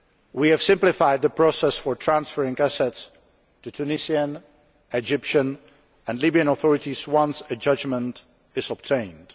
We have simplified the process for transferring assets to Tunisian, Egyptian and Libyan authorities once a judgment is obtained.